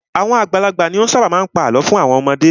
Àwọn àgbàlagbà ni ó ṣábà má a ń pa àlọ́ fún àwọn ọmọdé.